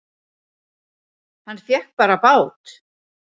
Hann fékk bara bát!